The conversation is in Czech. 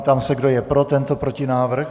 Ptám se, kdo je pro tento protinávrh?